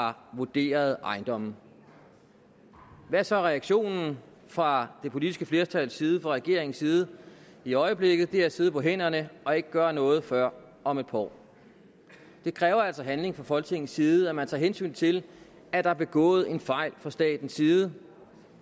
har vurderet ejendomme hvad er så reaktionen fra det politiske flertals side fra regeringens side i øjeblikket det er at sidde på hænderne og ikke gøre noget før om et par år det kræver altså handling fra folketingets side at man tager hensyn til at der er begået en fejl fra statens side